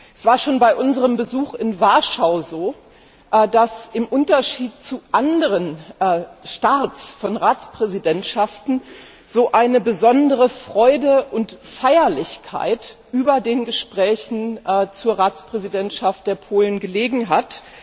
Es war schon bei unserem Besuch in Warschau so, dass im Unterschied zu anderen Starts von Ratspräsidentschaften eine besondere Freude und Feierlichkeit über den Gesprächen zur Ratspräsidentschaft der Polen gelegen hat.